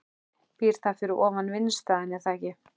Býr það fyrir ofan vinnustaðinn eða ekki?